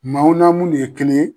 Maaw na munnu ye kelen ye